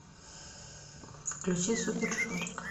включи супер жорик